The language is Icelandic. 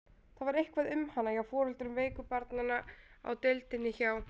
Það var eitthvað um hana hjá foreldrum veiku barnanna á deildinni hjá